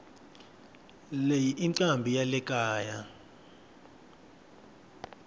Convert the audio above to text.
leyi incambi yalekaya